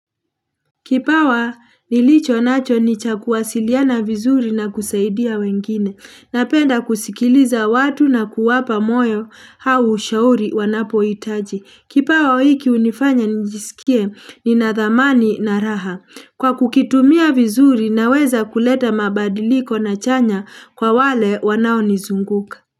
Kipawa nilicho nacho nicha kuwasiliana vizuri na kusaidia wengine, napenda kusikiliza watu na kuwapa moyo au ushauri wanapo hitaji. Kipawa hiki hunifanya njisikie ni nadhamani na raha. Kwa kukitumia vizuri na weza kuleta mabadiliko na chanya kwa wale wanao nizunguka.